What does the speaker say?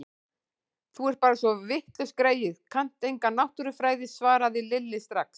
Þú ert bara svo vitlaus greyið, kannt enga náttúrufræði svaraði Lilla strax.